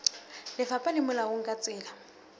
lefapha le molaong ka tsela